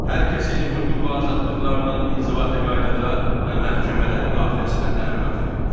Hər kəsin hüquq və azadlıqlarının inzibati qaydada və məhkəmədə müdafiəsinə təminat verilir.